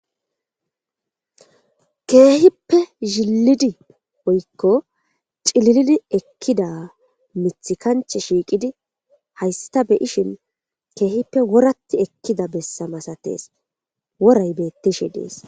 keehippe zhilidi woykko cililidi ekkida mith kanche shiiqidi haysta beyishin keehippe woratti ekkida bessamasatees woray beettishi dees